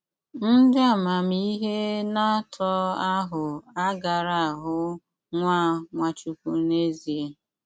Ndí Ámámíhè ná àtó áhụ á gàrà hụ́ nwá Nwáchúkwú n’ezié.